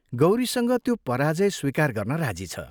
गौरीसँग त्यो पराजय स्वीकार गर्न राजी छ।